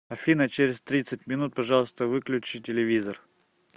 афина через тридцать минут пожалуйста выключи телевизор